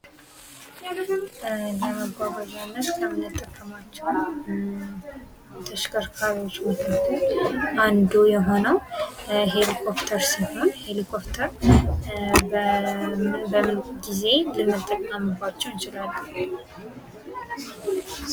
ለመጓጓዣነት ከምንጠቀማቸው ተሽከርካሪዎች መካከል አንዱ የሆነው ኤሊኮፍተር ሲሆን ኤሊኮፍተር በምን ጊዜ ልንጠቀምባቸው እንችላለን ።